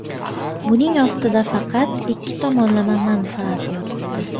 Buning ostida faqat ikki tomonlama manfaat yotibdi.